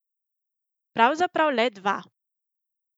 Pravzaprav le dva.